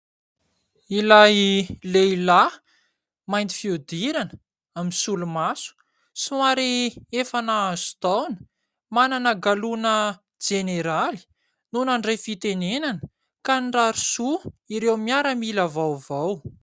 Ilay lehilahy mainty fiodirana, misolomaso, somary efa nahazo taona manana galoana Jeneraly no nandray fitenenana ka nirary soa ireo miaramila vaovao.